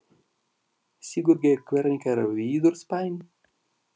Sigurgeir, hvernig er veðurspáin?